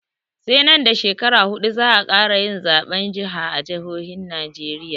Sai nan da shekaru huɗu za'a ƙara yin zaɓen jiha a jihohin najeriya